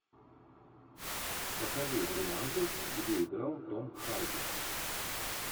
покажи варианты где играл том харди